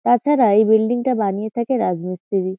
তাছাড়া এই বিল্ডিং - টা বানিয়ে থাকে রাজমিস্ত্রি।